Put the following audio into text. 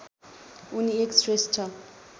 उनी एक श्रेष्ठ